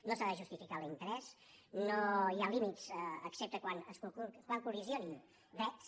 no s’ha de justificar l’interès no hi ha límits excepte quan collideixin drets